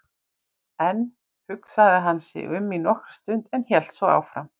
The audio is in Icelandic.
Enn hugsaði hann sig um í nokkra stund en hélt svo áfram